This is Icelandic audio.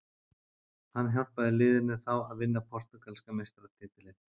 Hann hjálpaði liðinu þá að vinna portúgalska meistaratitilinn.